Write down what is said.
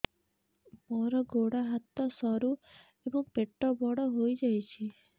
ମୋର ଗୋଡ ହାତ ସରୁ ଏବଂ ପେଟ ବଡ଼ ହୋଇଯାଇଛି